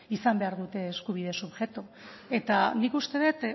izan behar dute eskubide subjektu eta nik uste dut